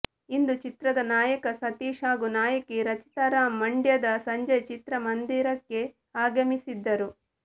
ಇಂದು ಚಿತ್ರದ ನಾಯಕ ಸತೀಶ್ ಹಾಗೂ ನಾಯಕಿ ರಚಿತಾ ರಾಮ್ ಮಂಡ್ಯದ ಸಂಜಯ್ ಚಿತ್ರ ಮಂದಿರಕ್ಕೆ ಆಗಮಿಸಿದ್ದರು